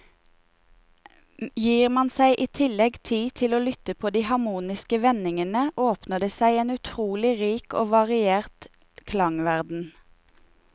Gir man seg i tillegg tid til å lytte på de harmoniske vendingene, åpner det seg en utrolig rik og variert klangverden.